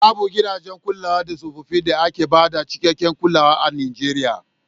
Babu gidajen kula da tsofaffi da ke ba da cikakken kulawa a Nijeriya.